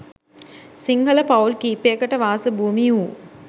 සිංහල පවුල් කීපයකට වාස භූමි වූ